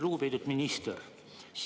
Lugupeetud minister!